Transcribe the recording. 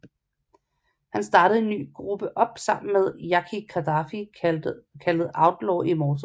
Han startede en ny gruppe op sammen med Yaki Kadafi kaldet Outlaw Immortalz